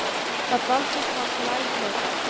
Þar dvaldist hann til æviloka.